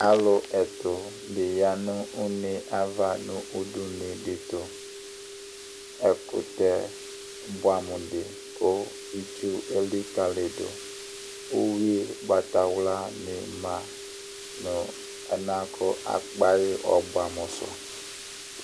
Alu ɛtu di ya nʋ une yɛ'ava nʋ udunu di tʋƐkutɛ buamu di kʋ itsu ɛlikaliduUwi Ʋgbatawla ni ma, nu ɛlɛnɛ kakpayi ɔbɔɛ'amu su